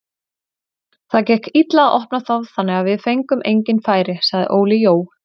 Það gekk illa að opna þá þannig við fengum engin færi, sagði Óli Jó.